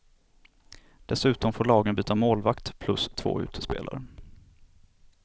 Dessutom får lagen byta målvakt plus två utespelare.